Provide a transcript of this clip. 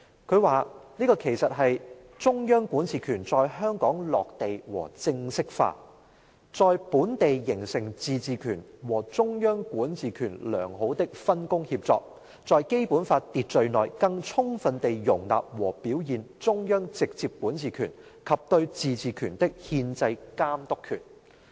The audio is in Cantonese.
他說："這其實是中央管治權在香港落地和正式化，在本地形成自治權和中央管治權良好的分工協作，在《基本法》秩序內更充分地容納和表現中央直接管治權及對自治權的憲制監督權。